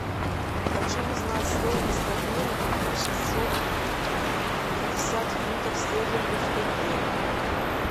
хочу узнать стоимость обмена купив шестьсот пятьдесят фунтов стерлингов в тенге